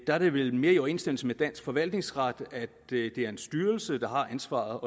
er det vel mere i overensstemmelse med dansk forvaltningsret at det er en styrelse der har ansvaret og